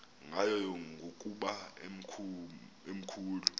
ngayo ngokuba emakhulu